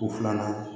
U filanan